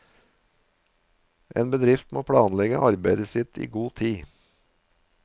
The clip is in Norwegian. En bedrift må planlegge arbeidet sitt i god tid.